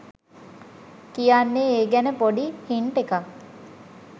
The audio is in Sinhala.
කියන්නෙ ඒ ගැන පොඩි හින්ට් එකක්